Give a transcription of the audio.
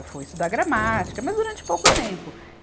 Eu fui estudar gramática, mas durante pouco tempo.